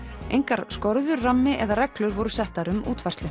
engar skorður rammi eða reglur voru settar um útfærslu